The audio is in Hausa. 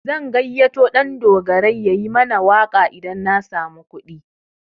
Zan gayyato Ɗandogarai yayi mana waƙa idan na samu kuɗi.